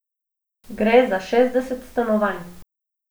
Gre za šestdeset stanovanj.